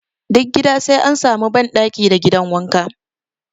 Duk gida sai an sami ban ɗaki da gidan wanka